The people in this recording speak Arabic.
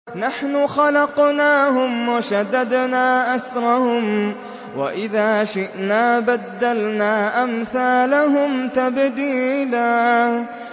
نَّحْنُ خَلَقْنَاهُمْ وَشَدَدْنَا أَسْرَهُمْ ۖ وَإِذَا شِئْنَا بَدَّلْنَا أَمْثَالَهُمْ تَبْدِيلًا